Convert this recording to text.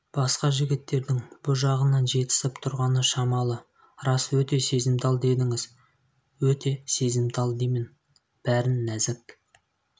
басқа жігіттердің бұ жағынан жетісіп тұрғаны шамалы рас өте сезімтал дедіңіз өт сезімтал деймін бәрін нәзік